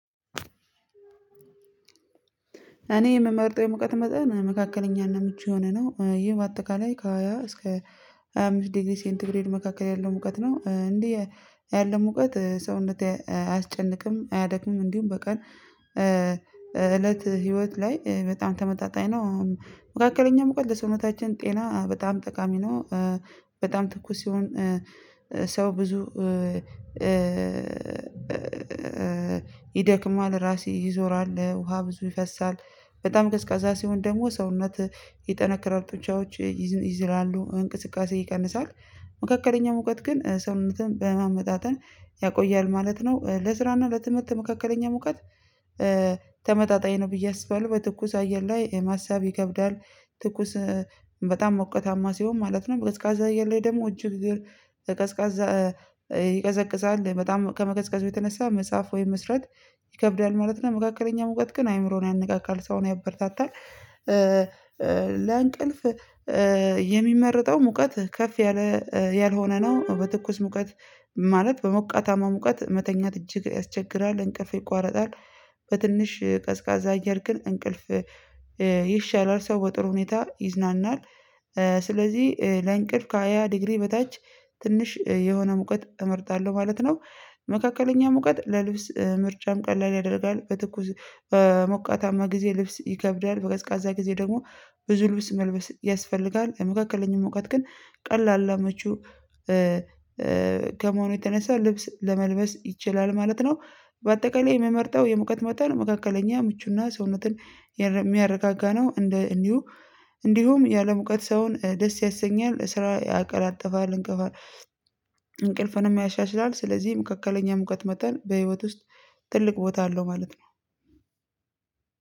እኔ የምመርጠው የሙቃት መጠን መካከለኛ እና ምቹ የሆነ ነው ይህ በአጠቃላይ ከሃያ እስከ አምስት ዲግሪ ሴንት ግሬድ መካከል ያለው ሙቀት ነው እንዴ ያለው ሙቀት ሰውነት እንድት አያስጨንቅም አያደክምም እንዲሁም በቀን እለት ህይወት ላይ በጣም ተመጣጣኝ ነው። መካከለኛው ሙቀል ለሰዉነታችን ጤና በጣም ጠቃሚ ነው። በጣም ትኩስ ሲሆን ሰው ብዙ ይደክማል ራሴ ይዞራል ውሃ ብዙ ይፈሳል በጣም ቀዝቃዛ ሲሆን ደግሞ ሰውነት ይጠነከረ ጡንቻዎች ይዝላሉ ይዝላሉ እንቅስቃሴ ይቀንሳል። መካከለኛ ሙቀት ግን ሰውነትህን በማመጣጠን ያቆያል ማለት ነው ለስራ እና ለትምህርት መካከለኛ ሙቀት። ተመጣጣኝ ነው ብዬ አስባለሁ በትኩስ አየር ላይ የማሳብ ይከብዳል ትኩስ በጣም ሞቀታማ ሲሆን ማለት ነው። በቀዝቃዛ አየር ላይ ደግሞ እጅግ እግር በቀዝቃዛ ይቀዘቅዛል በጣም ከመቀዝቀዙ የተነሳ መጽሐፍ ወይም መስራት ይከብዳል ማለት ነው። መካከለኛ ሙቀት ግን አይምሮን ያነቃቃል ሰውን ያበረታታል። ለአንቀልፍ የሚመርጠው ሙቀት ከፍ ያለ ያልሆነ ነው በትኩስ ሙቀት ማለት በሞቃታማ ሙቀት መተኛት እጅግ ያስቸግራል እንቅልፍ ይቋረጣል። በትንሽ ቀዝቃዛ አየር ግን እንቅልፍ ይሻላል ሰው በጥሩ ሁኔታ ይዝናናል። ስለዚህ ለእንቅልፍ ከሃያ ዲግሪ በታች ትንሽ የሆነ ሙቀት እመርጣለሁ ማለት ነው። መካከለኛ ሙቀት ለልብስ ምርጫም ቀላል ያደርጋል በትኩስ ሞቃታማ ጊዜ ልብስ ይከብዳል በቀዝቃዛ ጊዜ ደግሞ ብዙ ልብስ መልበስ ያስፈልጋል መካከለኛው ሙቀት ግን ቀላል አመቹ ከመሆኑ የተነሳ ልብስ ለመልበስ ይችላል ማለት ነው። በአጠቃላይ የምመርጠው የሙቀት መጠን መካከለኛ ምቹና ሰውነትን የሚያረጋጋ ነው እንደ እንዲሁ እንዲሁም ያለሙቀት ሰውን ደስ ያሰኛል ስራ ያቀላጥፋል እንቅፋለን እንቅልፍንም ያሻሽላል። ስለዚህም መካከለኛ ሙቀት መጠን በህይወት ውስጥ ትልቅ ቦታ አለው ማለት ነው።